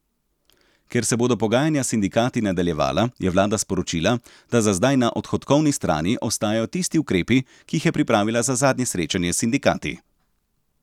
Ker se bodo pogajanja s sindikati nadaljevala, je vlada sporočila, da za zdaj na odhodkovni strani ostajajo tisti ukrepi, ki jih je pripravila za zadnje srečanje s sindikati.